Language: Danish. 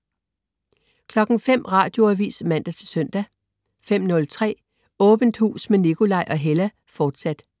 05.00 Radioavis (man-søn) 05.03 Åbent hus med Nikolaj og Hella, fortsat*